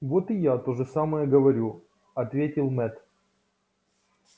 вот и я то же самое говорю ответил мэтт